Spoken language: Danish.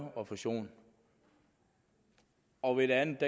refusion og ved det andet